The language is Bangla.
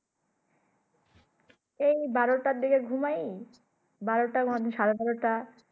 এই বারো টায় ঘুমাই বারো টার মধ্যে সারে বারো টা